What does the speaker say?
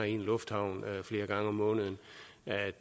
i en lufthavn flere gange om måneden